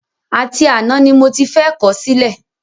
Àti àná ni mo ti fẹ́ kọ̀ ọ́ sílẹ̀